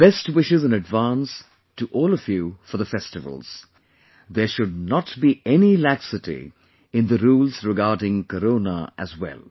Best wishes in advance to all of you for the festivals; there should not be any laxity in the rules regarding Corona as well